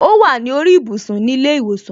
O wa ni orí ibùsùn ni ile iwosan.